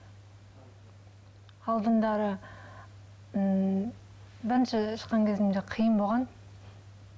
ммм бірінші шыққан кезімде қиын болған